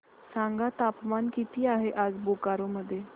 सांगा तापमान किती आहे आज बोकारो मध्ये